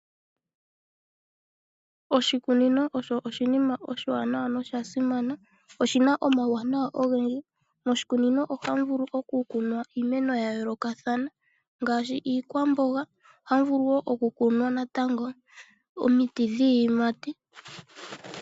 Oshikunino osho oshinima oshiwanawa noshasimana oshina omauwanawa ogendji. Moshikunino ohamu vulu okukunwa iimeno ya yoolokathana ngaashi iikwamboga. Ohamu vulu wo okukunwa natango omiti dhiiyimati.